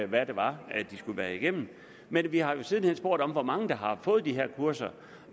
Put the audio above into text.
hvad det var de skulle igennem men vi har jo siden hen spurgt om hvor mange der har fået de her kurser